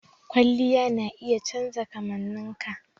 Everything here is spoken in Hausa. Kwalliya na iya canja kamanninka.